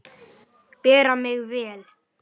Bera mig vel?